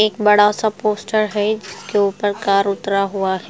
एक बड़ा सा पोस्टर है जिसके ऊपर कार उतरा हुआ है।